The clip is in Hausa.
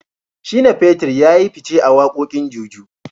Shina feter yayi fice a wakokin Juju.